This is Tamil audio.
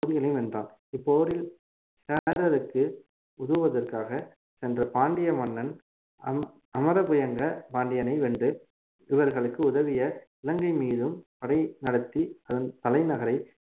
பகுதிகளையும் வென்றான் இப்போரில் சேரருக்கு உதவுவதற்காக சென்ற பாண்டிய மன்னன் அம~ அமரபுயங்க பாண்டியனை வென்று இவர்களுக்கு உதவிய இலங்கை மீதும் படை நடத்தி அதன் தலைநகரை